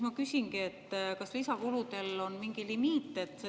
Ma küsingi, et kas lisakuludel on mingi limiit.